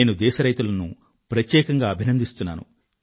నేను దేశ రైతులను ప్రత్యేకంగా అభినందిస్తున్నాను